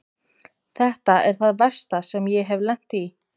Þetta er það versta sem ég hef lent í.